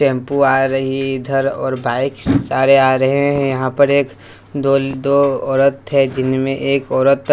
Shampoo आ रही है इधर और बाइक सारे आ रहे हैं यहां पर एक दो दो औरत थे जिनमें एक औरत।